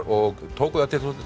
og tóku þær til